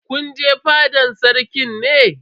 Kun je fadan Sarkin ne?